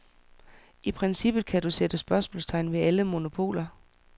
I princippet kan du sætte spørgsmålstegn ved alle monopoler.